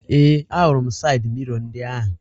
Ee, ahụrụ m sayịd miro ndị ahụ